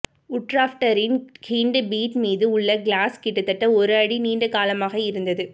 உட்ராப்ட்டரின் hind feet மீது உள்ள claws கிட்டத்தட்ட ஒரு அடி நீண்ட காலமாக இருந்தது